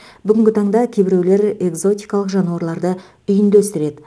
бүгінгі таңда кейбіреулер экзотикалық жануарларды үйінде өсіреді